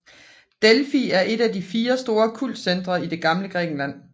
Delfi er et at de fire store kultcentre i det gamle Grækenland